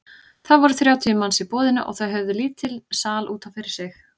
Það voru þrjátíu manns í boðinu og þau höfðu lítinn sal út af fyrir sig.